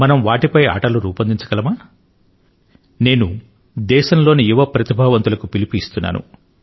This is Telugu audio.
మనం వాటిపై ఆటలు రూపొందించగలమా నేను దేశంలోని యువ ప్రతిభావంతులకు పిలుపు ఇస్తున్నాను